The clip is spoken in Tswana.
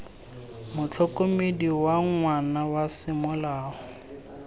motlhokomedi wa ngwana wa semolao